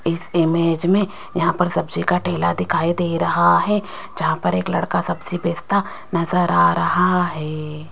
इस इमेज में यहां पर सब्जी का ठेला दिखाई दे रहा है जहां पर एक लड़का सब्जी बेचता नजर आ रहा है।